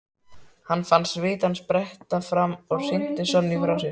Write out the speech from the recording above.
Hann fann svitann spretta fram og hrinti Sonju frá sér.